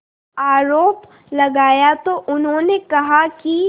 आरोप लगाया तो उन्होंने कहा कि